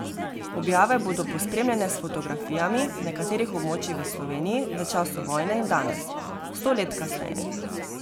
Objave bodo pospremljene s fotografijami nekaterih območij v Sloveniji v času vojne in danes, sto let kasneje.